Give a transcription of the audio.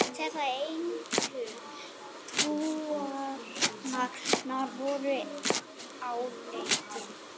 Þessi eintöl trúarinnar voru áleitin.